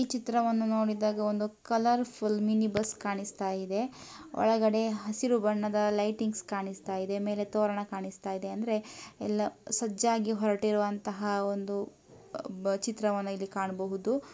ಈ ಚಿತ್ರವನ್ನು ನೋಡಿದಾಗ ಒಂದು ಕಲರ್ ಫುಲ್ ಮಿನಿ ಬಸ್ ಕಾಣಿಸ್ತಾ ಇದೆ ಒಳಗಡೆ ಹಸಿರು ಬಣ್ಣದ ಲೈಟಿಂಗ್ಸ್ ಕಾಣಿಸ್ತಾ ಇದೆ ಮೇಲೆ ತೋರಣ ಕಾಣಿಸ್ತಿದೆ ಅಂದ್ರೆ ಎಲ್ಲೋ ಸಜ್ಜಾಗಿ ಹೊರಟಿರುವಂತಹ ಒಂದು ಚಿತ್ರವನ್ನು ಇಲ್ಲಿ ಕಾಣಬಹುದು